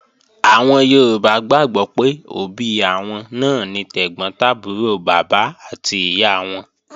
Àwọn Yorùbá gbàgbọ́ pé òbí àwọn náà ni tẹ̀gbọ́n tàbúrò bàbá àti ìyá wọn